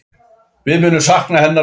Við munum sakna hennar mikið.